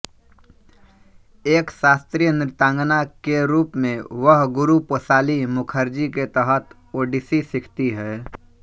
एक शास्त्रीय नृत्यांगना के रूप में वह गुरु पोषाली मुखर्जी के तहत ओडिसी सीखती है